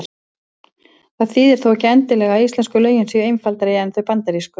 Það þýðir þó ekki endilega að íslensku lögin séu einfaldari en þau bandarísku.